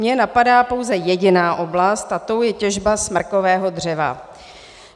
Mě napadá pouze jediná oblast a tou je těžba smrkového dřeva.